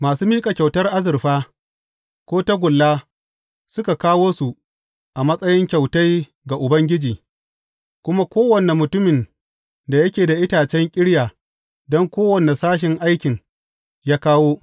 Masu miƙa kyautar azurfa, ko tagulla suka kawo su a matsayin kyautai ga Ubangiji, kuma kowane mutumin da yake da itacen ƙirya don kowane sashin aikin, ya kawo.